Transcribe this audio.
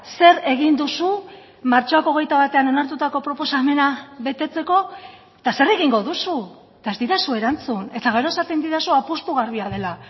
zer egin duzu martxoak hogeita batean onartutako proposamena betetzeko eta zer egingo duzu eta ez didazu erantzun eta gero esaten didazu apustu garbia dela